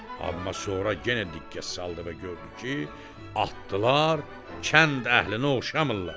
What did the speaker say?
Amma sonra yenə diqqət saldı və gördü ki, atdılar kənd əhlinə oxşamırlar.